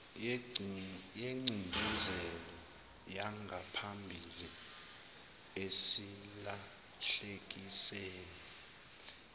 yengcindezelo yangaphambili esilahlekisele